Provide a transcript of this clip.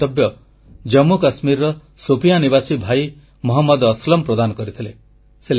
ଏହି ମନ୍ତବ୍ୟ ଜାମ୍ମୁକାଶ୍ମୀରର ଶୋପିୟାଁ ନିବାସୀ ଭାଇ ମହମ୍ମଦ ଅସଲମ ପ୍ରଦାନ କରିଥିଲେ